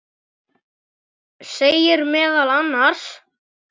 segir meðal annars